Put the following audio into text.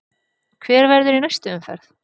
Hver verður í næstu umferð?